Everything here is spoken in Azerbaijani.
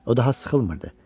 O daha sıxılmırdı.